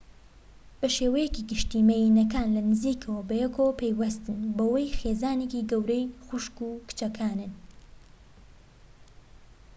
بە شێوەیەکی گشتی مێییەنەکان لە نزیکەوە بەیەکەوە پەیوەستن بەوەی خێزانێکی گەورەی خوشک و کچەکانن